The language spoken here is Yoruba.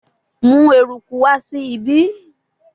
Mu eruku wa si ibi